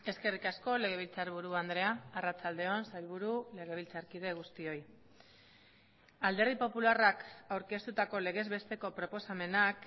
eskerrik asko legebiltzarburu andrea arratsalde on sailburu legebiltzarkide guztioi alderdi popularrak aurkeztutako legez besteko proposamenak